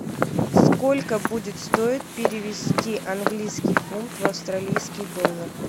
сколько будет стоить перевести английский фунт в австралийский доллар